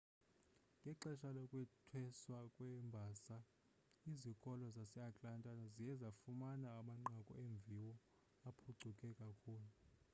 ngexesha lokwethweswa kweembasa izikolo zaseatlanta ziye zafumana amanqaku eemviwo aphucuke kakhulu